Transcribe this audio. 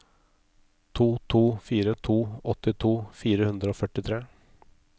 to to fire to åttito fire hundre og førtitre